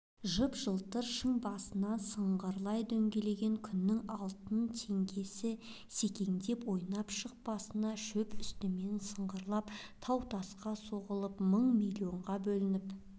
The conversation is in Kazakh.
жып-жылтыр шың басынан сыңғырлай дөңгелеген күннің алтын теңгесі секеңдеп-ойнап шық басқан шөп үстімен сыңғырлап тау-тасқа соғылып мың-миллионға бөлініп